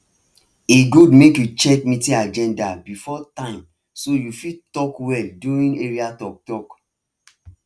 e good make you check meeting agenda before time so you fit talk well during area talktalk